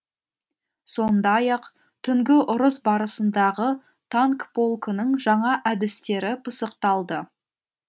сондай ақ түнгі ұрыс барысындағы танк полкының жаңа әдістері пысықталды